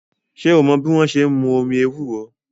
Ṣé o mọ́ bí wọ́n ṣe n mú omi ewúro?